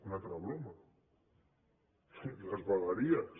una altra broma les vegueries